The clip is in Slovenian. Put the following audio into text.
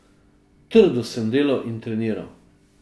Trdo sem delal in treniral.